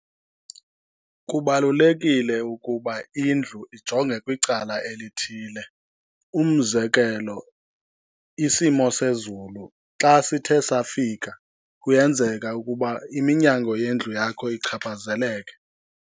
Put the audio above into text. Kubalulekile ukuba indlu ijonge kwicala elithile. Umzekelo, isimo sezulu xa sithe safika kuyenzeka ukuba iminyango yendlu yakho ichaphazeleke.